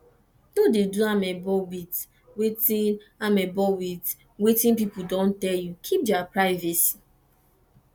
no dey do amebo with wetin amebo with wetin pipo don tell you keep their privacy